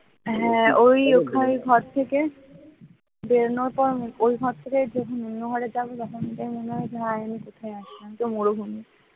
একদম মরুভূমি,